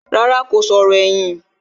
Rárá, kò sọ̀rọ̀ ẹ̀yìn